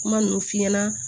Kuma ninnu f'i ɲɛna